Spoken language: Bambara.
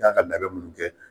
kan ka labɛn minnu kɛ.